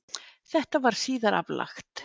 Þetta var síðar aflagt